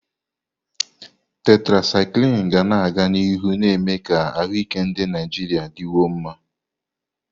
Tetrasyklini ga-aga n'ihu na-eme ka ahụike ndị Naijiria dịkwuo mma.